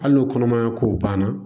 Hali n'o kɔnɔmaya ko banna